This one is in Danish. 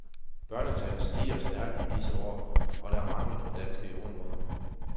Børnetallet stiger stærkt i disse år, og der er mangel på danske jordemødre.